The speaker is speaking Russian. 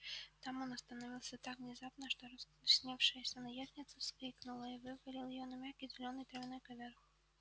там он остановился так внезапно что раскрасневшаяся наездница вскрикнула и вывалил её на мягкий зелёный травяной ковёр